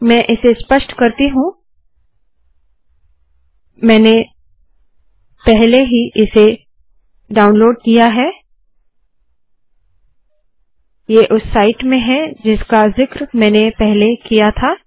मैं इसे स्पष्ट करती हूँ मैंने पहले ही इसे डाउनलोड किया है ये उस साईट में है जिसका ज़िक्र मैंने पहले किया था